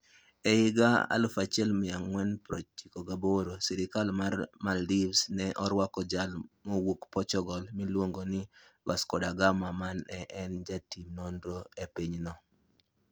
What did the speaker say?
E higa 1498, sirkal mar Maldives ne orwako jal mawuok Portugal miluongo ni Vasco da Gama, ma ne en jatim nonro e pinyno.